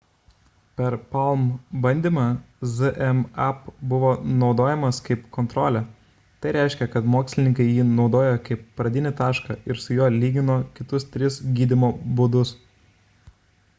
per palm bandymą zmapp buvo naudojamas kaip kontrolė tai reiškia kad mokslininkai jį naudojo kaip pradinį tašką ir su juo lygino kitus tris gydymo būdus